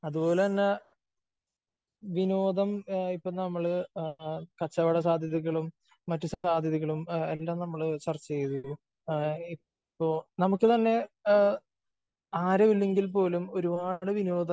അത്പോലെ തന്നെ വിനോദം ഇപ്പോ നമ്മള് കച്ചവട സാധ്യതകളും മറ്റ് സാധ്യതകളും എല്ലാം നമ്മള് സർച്ച് ചെയ്തു. ഇപ്പോ നമുക്ക് തന്നെ ആരും ഇല്ലെങ്കിൽ പോലും ഒരുപാട് വിനോദ